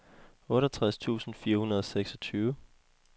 otteogtres tusind fire hundrede og seksogtyve